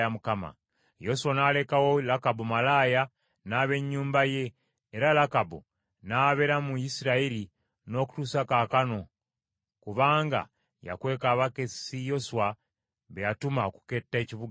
Yoswa n’alekawo Lakabu malaaya n’ab’ennyumba ye era Lakabu n’abeera mu Isirayiri n’okutuusa kaakano kubanga yakweka abakessi Yoswa be yatuma okuketta ekibuga Yeriko.